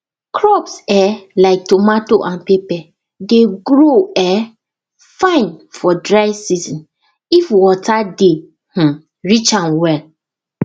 crops um like tomato and pepper dey grow um fine for dry season if water dey um reach am well